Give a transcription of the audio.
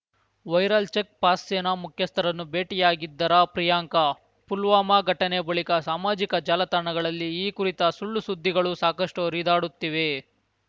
viral check Pak ಸೇನಾ ಮುಖ್ಯಸ್ಥರನ್ನು ಬೇಟಿಯಾಗಿದ್ದರಾ ಪ್ರಿಯಾಂಕಾ ಪುಲ್ವಾಮ ಘಟನೆ ಬಳಿಕ ಸಾಮಾಜಿಕ ಜಾಲತಾಣಗಳಲ್ಲಿ ಈ ಕುರಿತ ಸುಳ್ಳುಸುದ್ದಿಗಳೂ ಸಾಕಷ್ಟುಹರಿದಾಡುತ್ತಿವೆ